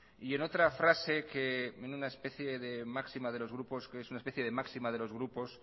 y en otra frase que es una especie de máxima de los grupos